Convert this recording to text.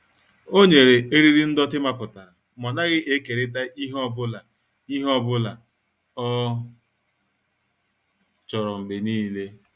O nyere eriri ndọtị mapụtara ma ọ naghị ekerịta ihe ọ bụla ihe ọ bụla ọ chọrọ mgbe niile.